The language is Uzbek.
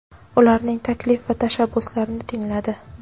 ularning taklif va tashabbuslarini tingladi.